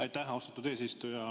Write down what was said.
Aitäh, austatud eesistuja!